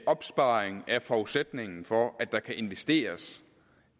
opsparing er forudsætningen for at der kan investeres